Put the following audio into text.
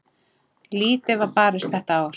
Lítið var barist þetta ár.